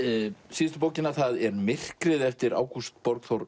síðustu bókina það er myrkrið eftir Ágúst Borgþór